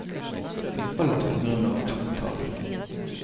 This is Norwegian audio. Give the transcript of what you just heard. Alt på grunn av to tall.